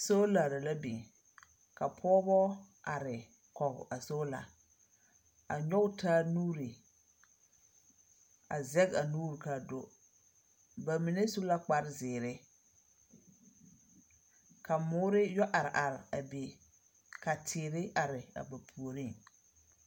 Soolare la biŋ. Ka pɔɔbɔ are, kɔge a soola, a nyɔge taa nuuri, a zɛge a nuuri kaa do. Ba mine su la kparezeere, ka moore yɔ are are a be, ka teere are a ba puoriŋ.